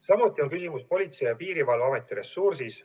Samuti on küsimus Politsei- ja Piirivalveameti ressursis.